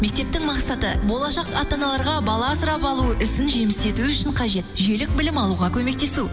мектептің мақсаты болашақ ата аналарға бала асырап алу ісін жеміс ету үшін қажет жүйелік білім алуға көмектесу